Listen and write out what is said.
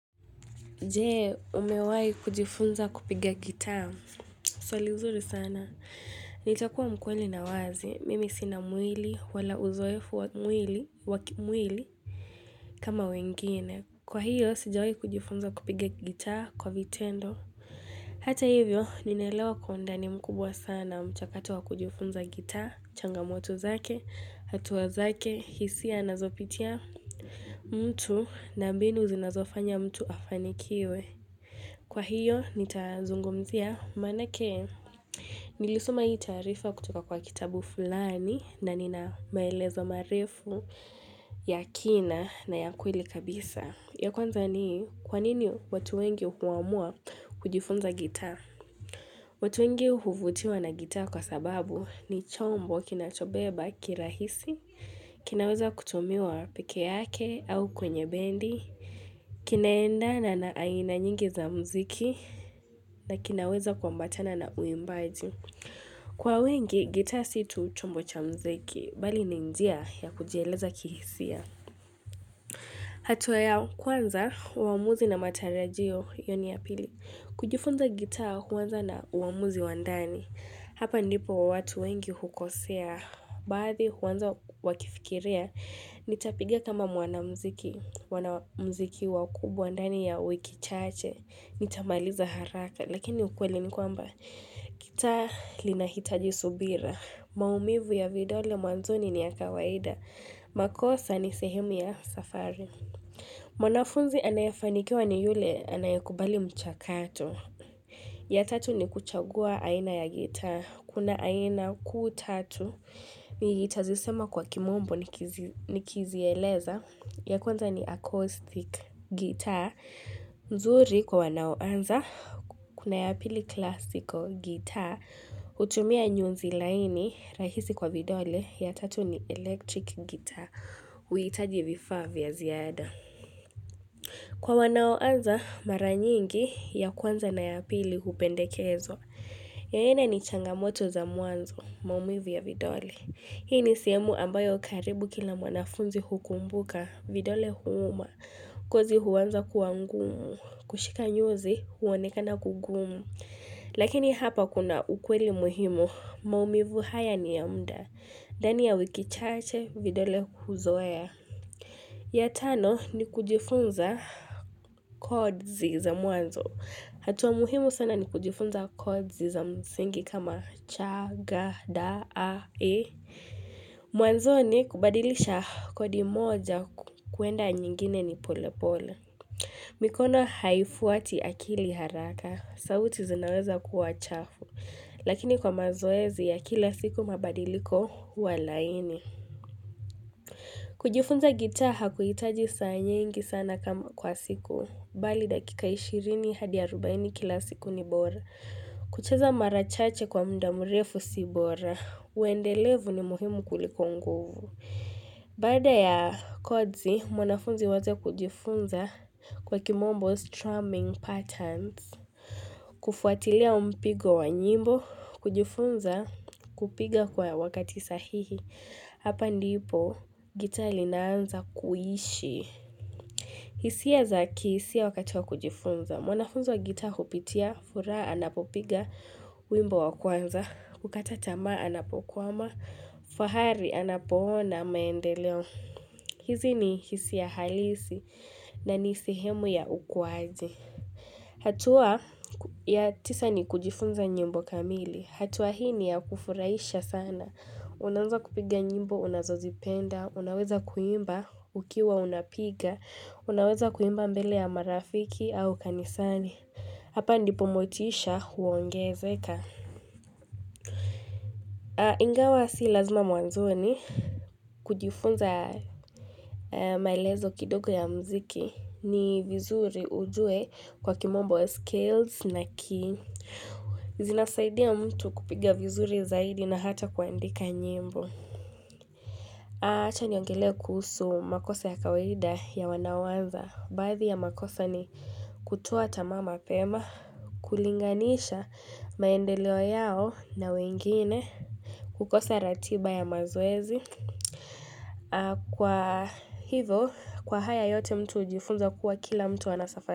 Jee, umewai kujifunza kupiga gitaa. Swali nzuri sana. Nitakuwa mkweli na wazi. Mimi sina mwili, wala uzoefu wa mwili, wakimwili, kama wengine. Kwa hiyo, sijawayi kujifunza kupiga gitaa kwa vitendo. Hata hivyo, ninaelewa kwaundani mkubwa sana mchakatu wa kujifunza gitaa. Changamoto zake, hatua zake, hisia na zopitia mtu na mbinu zinazofanya mtu afanikiwe. Kwa hiyo, nitazungumzia, manake, nilisoma hii taarifa kutoka kwa kitabu fulani, na nina maelezo marefu ya kina na ya kweli kabisa. Ya kwanza ni, kwanini watu wengi huamua kujifunza gitaa? Watu wengi huvutiwa na gitaa kwa sababu ni chombo kina chobeba kirahisi, kinaweza kutumiwa pekee yake au kwenye bendi, kinaenda na na aina nyingi za mziki na kinaweza kua mbatana na uimbaji Kwa wengi, gitaa situ chombo cha mziki, bali ninjia ya kujieleza kihisia hatua ya kwanza, uamuzi na matarajio, hiyoni ya pili kujifunza gitaa huanza na uamuzi wandani Hapa ndipo watu wengi hukosea Baadhi huanza wakifikiria, nitapigia kama mwana mziki, mwana mziki wakubwandani ya wiki chache, nitamaliza haraka. Lakini ukweli ni kwamba, gitaa lina hitaji subira, maumivu ya vidole mwanzoni ni ya kawaida, makosa ni sehemu ya safari. Mwanafunzi anayafanikiwa ni yule anayekubali mchakato. Ya tatu ni kuchagua aina ya guitar. Kuna aina kuu tatu nitazisema kwa kimombo ni kizi eleza. Ya kwanza ni acoustic guitar. Nzuri kwa wanaoanza kuna ya pili classical guitar. Utumia nyunzi laini rahisi kwa vidole. Ya tatu ni electric guitar. Uhitaji vifaa vya ziada. Kwa wanao anza mara nyingi ya kwanza na ya pili hupendekezwa. Yoyena ni changamoto za mwanzo, maumivu ya vidole. Hii ni sehemu ambayo karibu kila mwanafunzi hukumbuka, vidole huuma. Ngozi huanza kuwangumu, kushika nyuzi, huoneka na kugumu. Lakini hapa kuna ukweli muhimu, maumivu haya ni ya mda. Ndani ya wikichache, vidole huzoea. Ya tano ni kujifunza kodzi za mwanzo. Hatuwa muhimu sana ni kujifunza kodzi za mzingi kama cha, ga, da, a, e. Mwanzo ni kubadilisha kodi moja kuenda nyingine ni pole pole. Mikono haifuati akili haraka, sauti zinaweza kuwa chafu. Lakini kwa mazoezi ya kila siku mabadiliko huwalaini. Kujifunza gitaa ha kuhitaji saa nyingi sana kama kwa siku, bali dakika 20 hadi 40 kila siku ni bora. Kucheza marachache kwa muda murefu si bora, uendelevu ni muhimu kuliko nguvu. Baada ya kodzi, mwanafunzi uacha kujifunza kwa kimombo strumming patterns, kufuatilia huu mpigo wa nyimbo, kujifunza kupiga kwa wakati sahihi. Hapa ndipo gitaa linaanza kuishi. Hisia zaki, hisia wakati wa kujifunza. Mwanafunzo gitaa hupitia, furaha anapopiga wimbo wa kwanza. Ukata tamaa anapokuwama, fahari anapoona maendeleo. Hizi ni hisia halisi na nisehemu ya ukuwaji. Hatua ya tisa ni kujifunza nyimbo kamili. Hatua hii ni ya kufurahisha sana. Unaweza kupiga nyimbo unazozipenda, unaweza kuimba ukiwa unapiga, unaweza kuimba mbele ya marafiki au kanisani. Hapa ndipomotisha huongezeka. Ingawa si lazima mwanzoni kujifunza maelezo kidogo ya mziki ni vizuri ujuwe kwa kimombo ya scales na key. Zinasaidia mtu kupiga vizuri zaidi na hata kuandika nyimbo. Acha niongele kuhusu makosa ya kawaida ya wanaoanza. Baadhi ya makosa ni kutoa tamaa ma pema, kulinganisha maendeleo yao na wengine, kukosa ratiba ya mazoezi. Kwa hivo, kwa haya yote mtu ujifunza kuwa kila mtu anasafari.